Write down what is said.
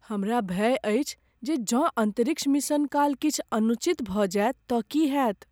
हमरा भय अछि जे जँ अन्तरिक्ष मिशन काल किछु अनुचित भऽ जाय तँ की होयत।